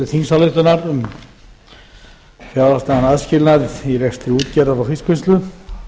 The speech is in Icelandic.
þingsályktunar um fjárhagslegan aðskilnað í rekstri útgerðar og fiskvinnslu þetta